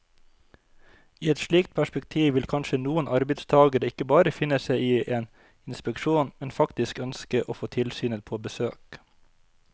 I et slikt perspektiv vil kanskje noen arbeidstagere ikke bare finne seg i en inspeksjon, men faktisk ønske å få tilsynet på besøk.